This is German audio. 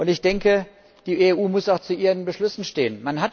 Ich denke, die EU muss auch zu ihren Beschlüssen stehen.